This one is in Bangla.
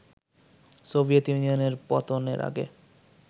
সোভিয়েত ইউনিয়ন পতনের আগে